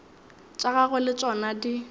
tša gagwe le tšona di